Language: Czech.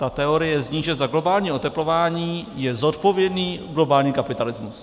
Ta teorie zní, že za globální oteplování je zodpovědný globální kapitalismus.